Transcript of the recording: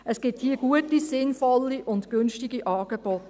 Es gibt hier gute, sinnvolle und günstige Angebote.